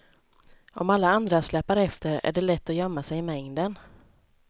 Om alla andra släpar efter är det lätt att gömma sig i mängden.